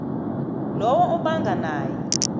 lowo obanga naye